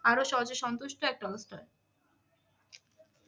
আরো সহজে সন্তুষ্ট এক ট্রলস্টয়।